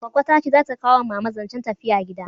Goggo ta ce za ta kawo ma mama zancen tafiya gida